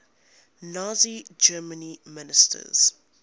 nazi germany ministers